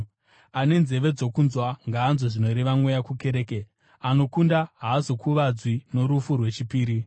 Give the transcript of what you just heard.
Ane nzeve dzokunzwa, ngaanzwe zvinoreva Mweya kukereke. Anokunda haazokuvadzwi norufu rwechipiri.